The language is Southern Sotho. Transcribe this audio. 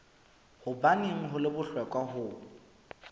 hobaneng ho le bohlokwa ho